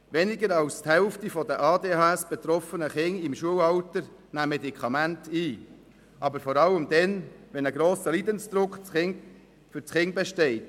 Weniger als die Hälfte der von einer Aufmerksamkeitsdefizit-/Hyperaktivitätsstörung (ADHS) betroffenen Kinder im Schulalter nehmen Medikamente ein, aber vor allem dann, wenn ein grosser Leidensdruck für das Kind besteht.